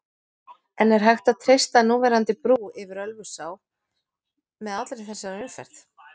En er hægt að treysta núverandi brú yfir Ölfusá með allri þessari umferð?